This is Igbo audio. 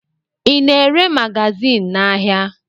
Ị na-ere magazin n'ahịa?